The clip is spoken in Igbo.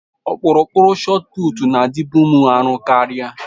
Ọkpụrụkpụ shotụputụ na-adịbu m arọ karịa.